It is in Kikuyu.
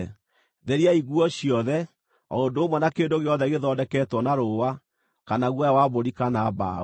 Theriai nguo ciothe, o ũndũ ũmwe na kĩndũ gĩothe gĩthondeketwo na rũũa, kana guoya wa mbũri kana mbaũ.”